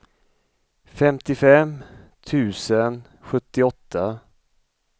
femtiofem tusen sjuttioåtta